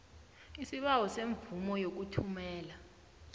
isibawo semvumo yokuthumela